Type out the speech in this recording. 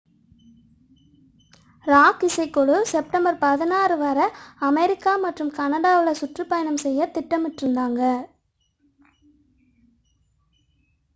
rock இசைக்குழு September 16 வரை America மற்றும் கனடாவில் சுற்றுப்பயணம் செய்யத் திட்டமிட்டிருந்தது